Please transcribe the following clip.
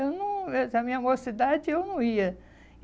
Eu não, eh na minha mocidade, eu não ia.